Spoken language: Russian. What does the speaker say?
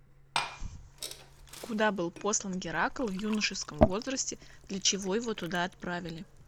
куда был послан геракл в юношеском возрасте для чего его туда отправили